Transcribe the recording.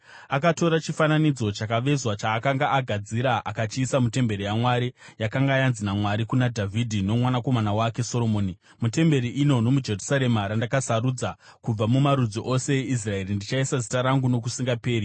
Akatora chifananidzo chakavezwa chaakanga agadzira akachiisa mutemberi yaMwari, yakanga yanzi naMwari kuna Dhavhidhi nokumwanakomana wake Soromoni, “Mutemberi ino nomuJerusarema randakasarudza kubva mumarudzi ose eIsraeri, ndichaisa Zita rangu nokusingaperi.